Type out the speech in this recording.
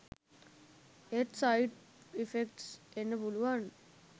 ඒත් side effects එන්න පුලුවන්